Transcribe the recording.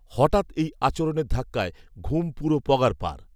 হঠাৎ এই আচরণের ধাক্কায় ঘুম পুরো পগার পার